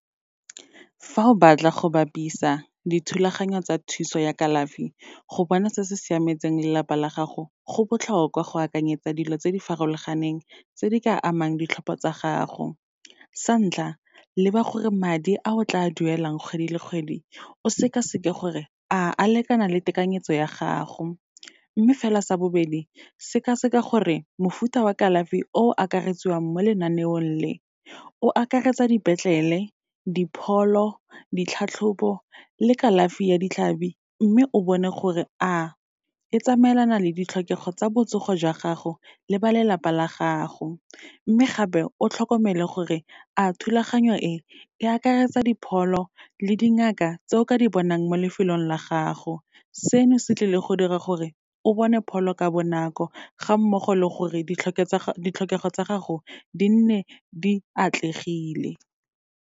Fa o batla go bapisa dithulaganyo tsa thuso ya kalafi, go bona se se siametseng lelapa la gago, go botlhokwa go akanyetsa dilo tse di farologaneng, tse di ka amang ditlhopho tsa gago. Sa ntlha, leba gore madi a o tla duelang kgwedi le kgwedi o sekaseke gore a lekana le tekanyetso ya gago. Mme fela sa bobedi, sekaseka gore mofuta wa kalafi o akaretswang mo lenaneong le, o akaretsa dipetlele, dipholo, ditlhatlhobo le kalafi ya ditlhabi, mme o bone gore a e tsamaelana le ditlhokego tsa botsogo jwa gago le ba lelapa la gago. Mme gape, o tlhokomele gore a thulaganyo e, e akaretsa dipholo le dingaka tse o ka di bonang mo lefelong la gago, seno se tlile go dira gore o bone pholo ka bonako, ga mmogo le gore ditlhokego tsa gago di nne di atlegile.